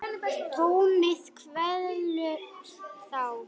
Tómið kvelur þá.